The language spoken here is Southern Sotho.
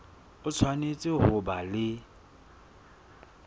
o tshwanetse ho ba le